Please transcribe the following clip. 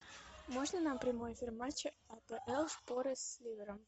можно нам прямой эфир матча апл шпоры с ливером